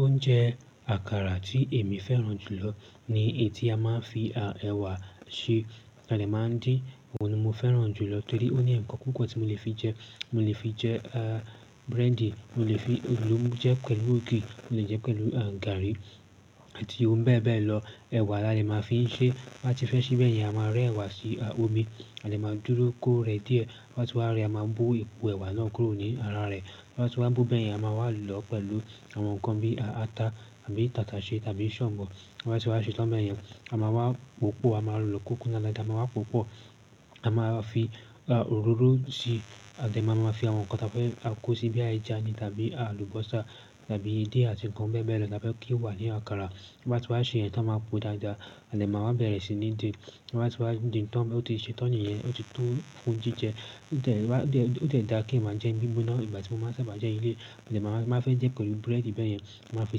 Oúnjẹ àkàrà tí èmi fẹ́ràn jù lọ ní èyí tí a máa ń fi ẹwà ṣe, táa dẹ̀ máa ń dín, òun ni mo fẹ́ràn jùlọ torí ó ní nǹkan púpọ̀ tí mo lè fi jẹ. Mo lè fi jẹ búrẹ́dì, mo lè jẹẹ́ pẹ̀lú ògì, mo lè jẹẹ́ pẹ̀lú garri àti ohun bẹ́ẹ̀ bẹ́ẹ̀ lọ. Ẹ̀wà la dẹ̀ máa fi ń ṣeé. Ta bá ti fẹ́ ṣeé bẹ́yẹn, a máa rẹ́ ẹ̀wà sí omi, a dẹ̀ máa dúró kó rẹ díẹ̀, tó bá ti wá rẹ, a máa bó èpo ẹ̀wà náà kúrò ní ara rẹ̀. Bá ti wá bo bẹ́yẹn, a máa wá lọ̀ọ́ pẹ̀lú àwọn nǹkan bí ata àbí tàtàṣé tàbí ṣàǹbọ̀. Bá ti wá ṣe tán bẹ́ẹ̀ yẹn, a máa wá pòó pọ̀, a máa lọ̀ọ́ kó kúnná dáadáa, a máa máa wá pòó pọ̀. A máa fi òróró síi, a dẹ̀ máa máa fi àwọn nǹkan táa fẹ́ kó síi bóyá ẹja ni tàbí àlùbọ́sà tàbí edé àti nǹkan bẹ́ẹ̀ bẹ́ẹ̀ lọ táa fẹ́ kí ó wà ní àkàrà. Bá ti wá ṣèyẹn tán, a máa pòó dáadáa, a dẹ̀ máa wá bẹ̀rẹ̀ sí ní dín-in. Bá ti wá din tán, ó ti ṣe tán nìyẹn, ó ti tó fún jíjẹ. Ó dẹ̀ dáa kéèyàn máa jẹẹ́ ní gbígbóná, ìgbà tí mo máa ń sábà jẹẹ́ leléyìí, a dẹ̀ máa, tí n bá fẹ́ jẹẹ́ pẹ̀lú búrẹ́dì bẹ́yẹn, n màá fi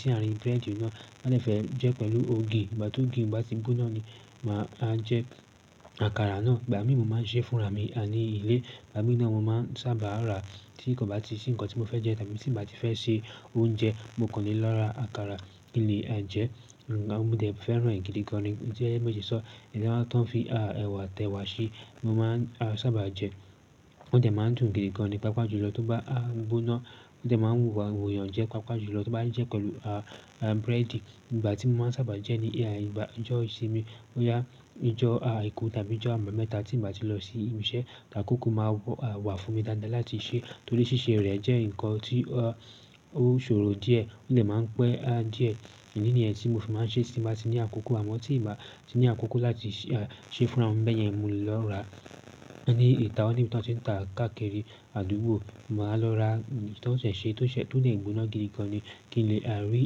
sí àárín búrẹ́dì náà. Tí n bá dẹ̀ fẹ́ jẹẹ́ pẹ̀lú lù ògì, ìgbà t'ógì yẹn bá ti gbóná ni màá jẹ àkàrà náà. Ìgbà míì mo máa ń ṣeé fúnra mi ní ilé, ìgbà míì náà mo máa ń sábà ràá tí kò bá ti sí nǹkan tí mo fẹ́ jẹ tàbí tí ǹ bá ti fẹ́ se oúnjẹ, mo kàn lè lọ ra àkàrà kí n lè jẹẹ́. Mo dẹ̀ fẹ́ràn ẹ̀ gidi gan-an ni, ó jẹ́ bí mo ṣe sọ ọ́, èyí t'ọ́n fi ẹ̀wà t'ẹ̀wà ṣe ni mo máa ń sábà jẹ. Ó dẹ̀ máa ń dùn gidi gan-an ni, pàápàá jùlọ tó bá gbóná, ó dẹ̀ máa ń wu àwọn èèyàn yàn jẹ pàápàá jùlọ tóo bá ń jẹẹ́ pẹ̀lú búrẹ́dì. Ìgbà tí mo máa ń sábà jẹẹ́ ní ijọ́ ìsinmi, bóyá ojọ́ Àìkú tàbí ijọ́ Àbámẹ́ta tí ǹ bá ti lọ sí ibi iṣẹ́, lákòókò máa wà fún mi dáadáa láti ṣeé torí ṣíṣe rẹ̀ jẹ́ nǹkan tí ó ṣòro díẹ̀. Ó dẹ̀ máa ń pẹ́ díẹ̀. Ìdí nìyẹn tí mo fi máa ń ṣeé tí n bá ti ní àkókò, àmọ́ tí ǹ bá ti ní àkókò láti ṣeé fúnra mi bẹ́yẹn, mo lè lọ ràá ní ìta, ó níbi tí wọ́n ti ń tàá káàkiri àdúgbò. Máa lọ ra èyí t'ọ́n ṣẹ̀ẹ̀ ṣe, tó dẹ̀ gbóná gidi gan-an ni kí n lè rí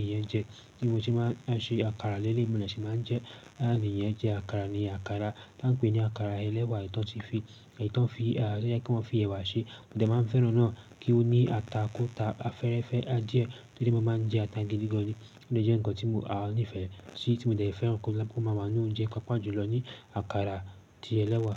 ìyẹn jẹ. Bí mo ṣe máa ń ṣe àkàrà leléyìí, mo dẹ̀ ṣe máa ń jẹẹ́, ìyẹn jẹ àkàrà ni àkàrà t'ọ́n ń pè ní àkàrà ẹlẹ́wà èyí t'ọ́n ti fi, èyí t'ọ́n fi, tó jẹ́ pé wọ́n fi ẹ̀wà ṣe. Mo dẹ̀ máa ń fẹ́ràn náà kí ó ní ata kó ta fẹ́ẹ́rẹ́fẹ́ díẹ̀ torí mo máa ń jẹ ata gidi gan-an ni. Ó dẹ̀ jẹ́ nǹkan tí mo nífẹ̀ẹ́ sí tí mo dẹ̀ fẹ́ràn kí ó máa wà nínú oúnjẹ pàápàá jùlọ ni àkàrà ti ẹlẹ́wà.